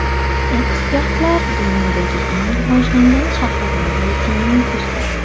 Ekspertlar dunyodagi eng rivojlangan shaharlar reytingini tuzdi.